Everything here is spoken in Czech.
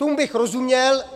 Tomu bych rozuměl.